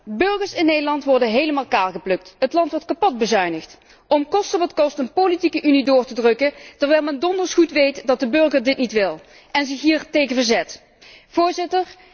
De burgers in Nederland worden helemaal kaalgeplukt, het land wordt kapotbezuinigd om koste wat kost een politieke unie door te drukken, terwijl men donders goed weet dat de burger dit niet wil en zich hiertegen verzet.